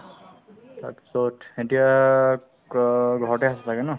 তাৰপিছত এতিয়া ক ঘৰতে আছা ছাগে ন